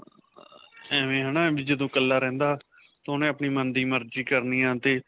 ਐਂਵੇਂ ਹੈ ਨਾ ਜਦੋਂ ਇਕਲਾ ਰਹਿੰਦਾ 'ਤੇ ਉਸਨੇ ਆਪਣੇ ਮਨ ਦੀ ਮਰਜੀ ਕਰਨੀ ਆ 'ਤੇ.